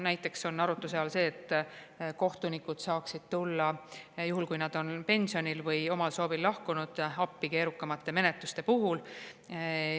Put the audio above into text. Näiteks on arutluse all see, et kohtunikud saaksid tulla juhul, kui nad on pensionil või omal soovil lahkunud, appi keerukamate menetluste puhul.